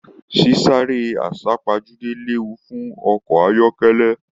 Sisare asapajude léwu fún ọkọ ayọkẹlẹ.